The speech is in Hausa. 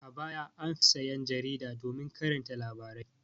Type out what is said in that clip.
A baya an fi sayan jarida domin karanta labarai.